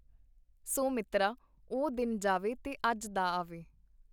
ਸੋ ਮਿੱਤਰਾ, ਉਹ ਦਿੱਨ ਜਾਵੇ ਤੇ ਅੱਜ ਦਾ ਆਵੇ.